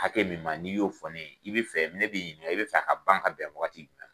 Hakɛ min ma n'i y'o fɔ ne ye i bɛ fɛ ne b'i ɲininka i bɛ fɛ a ka ban ka bɛn wagati